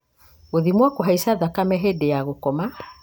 gũthimwo kũhaica thakame hĩndĩ ya gũkoma